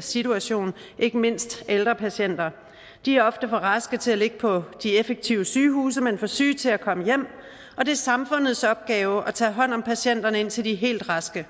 situation ikke mindst ældre patienter de er ofte er for raske til at ligge på de effektive sygehuse men for syge til at komme hjem og det er samfundets opgave at tage hånd om patienterne indtil de er helt raske